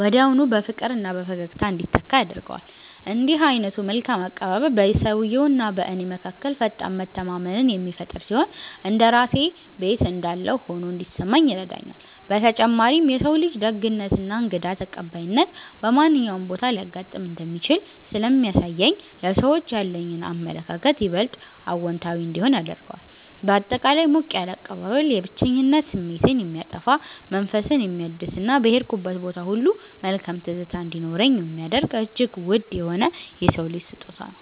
ወዲያውኑ በፍቅርና በፈገግታ እንዲተካ ያደርገዋል። እንዲህ ዓይነቱ መልካም አቀባበል በሰውየውና በእኔ መካከል ፈጣን መተማመንን የሚፈጥር ሲሆን፣ እንደ ራሴ ቤት እንዳለሁ ሆኖ እንዲሰማኝ ይረዳኛል። በተጨማሪም የሰው ልጅ ደግነትና እንግዳ ተቀባይነት በማንኛውም ቦታ ሊያጋጥም እንደሚችል ስለሚያሳየኝ ለሰዎች ያለኝ አመለካከት ይበልጥ አዎንታዊ እንዲሆን ያደርገዋል። ባጠቃላይ ሞቅ ያለ አቀባበል የብቸኝነት ስሜትን የሚያጠፋ፣ መንፈስን የሚያድስና በሄድኩበት ቦታ ሁሉ መልካም ትዝታ እንዲኖረኝ የሚያደርግ እጅግ ውድ የሆነ የሰው ልጅ ስጦታ ነው።